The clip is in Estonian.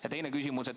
Ja teine küsimus.